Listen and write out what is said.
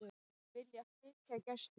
Vilja flytja Gæsluna